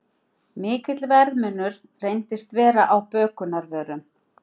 Mikill verðmunur reyndist vera á bökunarvörum